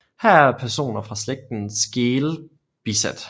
Her er personer fra slægten Skeel bisat